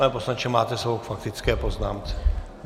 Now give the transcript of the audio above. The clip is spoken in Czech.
Pane poslanče, máte slovo k faktické poznámce.